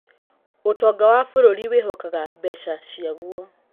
ũtonga wa bũrũri wĩhokaga mbeca ciaguo.